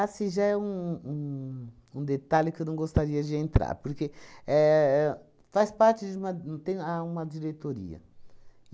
Ah, isso já é um um um detalhe que eu não gostaria de entrar, porque éh éh faz parte de uma um tem a uma diretoria.